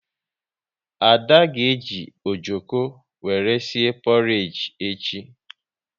Ada ga eji ojoko wéré sie porage echi